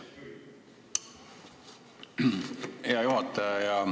Hea juhataja!